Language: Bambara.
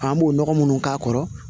An b'o nɔgɔ munnu k'a kɔrɔ